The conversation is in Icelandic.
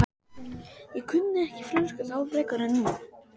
Ég kunni ekki frönsku þá frekar en nú.